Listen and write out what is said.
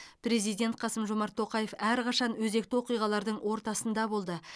президент қасым жомарт тоқаев әрқашан өзекті оқиғалардың ортасында болды